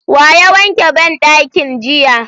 Wa ya wanke banɗakin jiya?